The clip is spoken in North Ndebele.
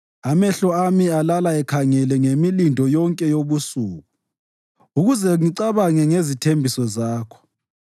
Amehlo ami alala ekhangele ngemilindo yonke yobusuku, ukuze ngicabange ngezithembiso zakho.